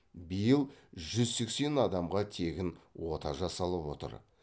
биыл жүз сексен адамға тегін ота жасалып отыр